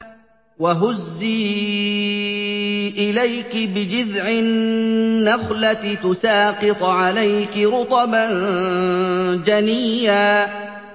وَهُزِّي إِلَيْكِ بِجِذْعِ النَّخْلَةِ تُسَاقِطْ عَلَيْكِ رُطَبًا جَنِيًّا